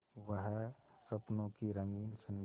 वह स्वप्नों की रंगीन संध्या